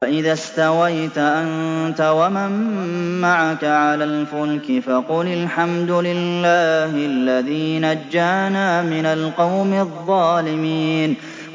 فَإِذَا اسْتَوَيْتَ أَنتَ وَمَن مَّعَكَ عَلَى الْفُلْكِ فَقُلِ الْحَمْدُ لِلَّهِ الَّذِي نَجَّانَا مِنَ الْقَوْمِ الظَّالِمِينَ